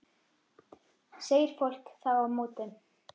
segir fólk þá á móti.